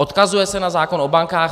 Odkazuje se na zákon o bankách.